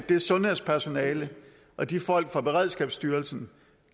det sundhedspersonale og de folk fra beredskabsstyrelsen